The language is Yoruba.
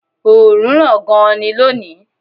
Oòrùn ràn gan-an ni lónìí